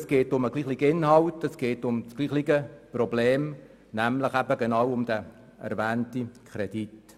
Es geht um denselben Inhalt und dasselbe Problem, nämlich um den erwähnten Kredit.